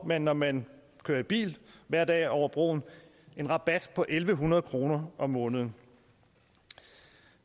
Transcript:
man når man kører i bil hver dag over broen en rabat på en hundrede kroner om måneden